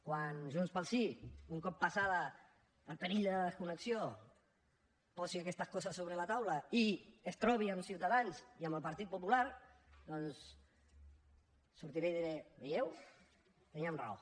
quan junts pel sí un cop passat el perill de desconnexió posi aquestes coses sobre la taula i es trobi amb ciutadans i amb el partit popular doncs sortiré i diré ho veieu teníem raó